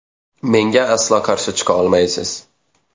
Menga aslo qarshi chiqa olmaysiz.